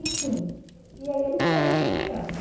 Enfim, e aí ele foi estudando.